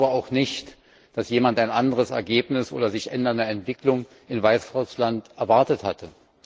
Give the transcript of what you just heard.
Ich glaube auch nicht, dass jemand ein anderes Ergebnis oder sich ändernde Entwicklungen in Weißrussland erwartet hatte.